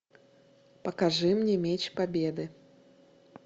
покажи мне меч победы